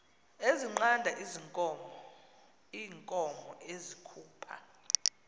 ezinqanda iinkomo ezikhupha